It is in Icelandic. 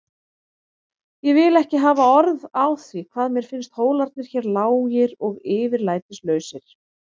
Ég vil ekki hafa orð á því hvað mér finnst hólarnir hér lágir og yfirlætislausir.